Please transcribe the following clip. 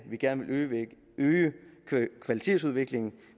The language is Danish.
at vi gerne vil øge kvalitetsudviklingen